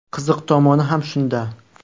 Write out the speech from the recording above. Qiziq tomoni ham shunda.